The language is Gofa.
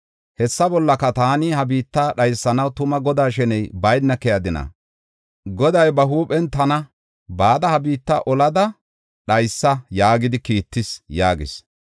Hessa bollaka, taani ha biitta dhaysanaw tuma Godaa sheney bayna keyadina? Goday ba huuphen tana ‘Bada ha biitta olada dhaysa’ yaagidi kiittis” yaagis.